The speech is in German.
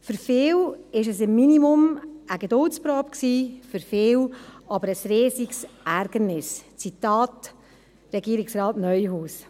Für viele war es im Minimum eine Geduldsprobe, für viele aber ein riesiges Ärgernis – Zitat Regierungsrat Neuhaus.